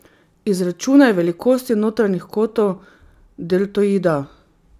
Izračunaj velikosti notranjih kotov deltoida.